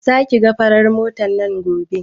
Za ki ga farar matar nan gobe?